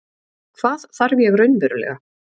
Hvað þarf ég raunverulega?